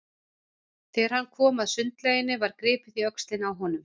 Þegar hann kom að sundlauginni var gripið í öxlina á honum.